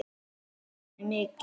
Þetta gladdi Svönu mikið.